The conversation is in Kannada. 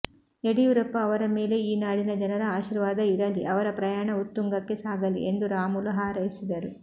ಯಡಿಯೂರಪ್ಪ ಅವರ ಮೇಲೆ ಈ ನಾಡಿನ ಜನರ ಆಶಿರ್ವಾದ ಇರಲಿ ಅವರ ಪ್ರಯಾಣ ಉತ್ತುಂಗಕ್ಕೆ ಸಾಗಲಿ ಎಂದು ರಾಮುಲು ಹಾರೈಸಿದರು